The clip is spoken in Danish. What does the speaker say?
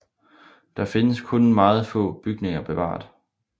Der findes kun meget få bygninger bevaret